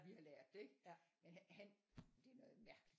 Vi har lært det ikke men han det er noget mærkeligt